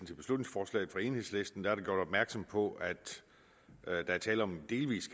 til beslutningsforslaget fra enhedslisten er der gjort opmærksom på at der er tale om en delvis